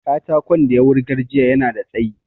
Katakon da ya wurgar jiya yana da tsayi